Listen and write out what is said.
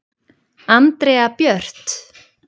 Andrea Björt.